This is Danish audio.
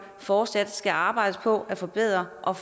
fortsat skal arbejdes på at forbedre og